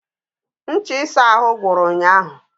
Ncha ịsa ahụ gwụrụ ụnyahụ